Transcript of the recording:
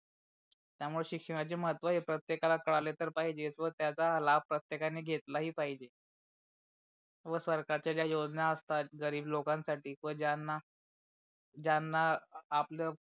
त्या मूळे शिक्षणाचे महत्व प्रतेकला कळाले तर पाहिजे व त्याच्या लाभ प्रतेकांणी घेतला ही पहिजे. हो सरकारच्या त्या योजना असतात गरीब लोकांना साठी व ज्यांना ज्यांना आपल